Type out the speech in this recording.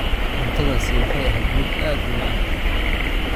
Cuntadaasi waxay ahayd mid aad u macaan